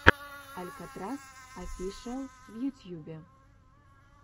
алькатрас офишиал в ютьюбе